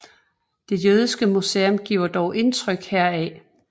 Det jødiske museum giver dog indtryk heraf